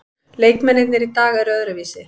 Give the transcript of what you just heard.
Leikmennirnir í dag eru öðruvísi.